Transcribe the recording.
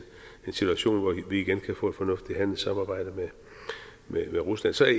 situation hvor vi igen kan få et fornuftigt handelssamarbejde med rusland så er